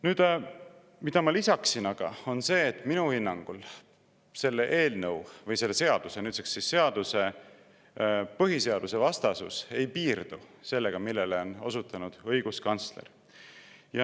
Nüüd, mida ma lisaksin, on see, et minu hinnangul selle eelnõu või selle seaduse – nüüdseks seaduse – põhiseadusvastasus ei piirdu sellega, millele on osutanud õiguskantsler.